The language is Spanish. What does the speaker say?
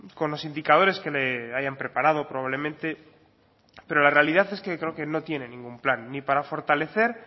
con los indicadores que le hayan preparado probablemente pero la realidad es que creo que no tiene ningún plan ni para fortalecer